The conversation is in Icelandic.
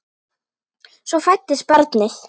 Svo fæddist barnið.